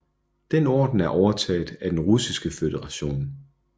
Den orden er overtaget af Den Russiske Føderation